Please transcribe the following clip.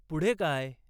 पुढे काय?